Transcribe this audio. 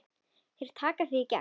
Þeir taka þig í gegn!